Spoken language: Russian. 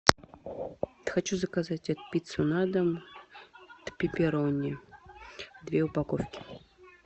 хочу заказать пиццу на дом пепперони две упаковки